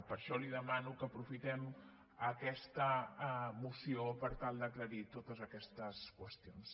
per això li demano que aprofitem aquesta moció per tal d’aclarir totes aquestes qüestions